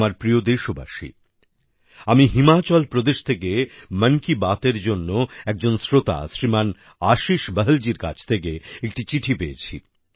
আমার প্রিয় দেশবাসী আমি হিমাচল প্রদেশ থেকে মন কি বাতএর জন্য একজন শ্রোতা শ্রীমান আশিস বহলজির কাছ থেকে একটি চিঠি পেয়েছি